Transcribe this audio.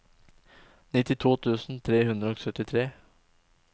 nittito tusen tre hundre og syttitre